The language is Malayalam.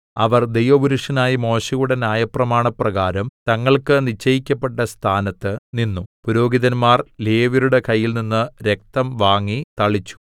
അവർ ദൈവപുരുഷനായ മോശെയുടെ ന്യായപ്രമാണപ്രകാരം തങ്ങൾക്ക് നിശ്ചയിക്കപ്പെട്ട സ്ഥാനത്ത് നിന്നു പുരോഹിതന്മാർ ലേവ്യരുടെ കയ്യിൽനിന്ന് രക്തം വാങ്ങി തളിച്ചു